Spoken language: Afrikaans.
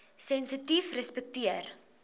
sensitiefrespekteer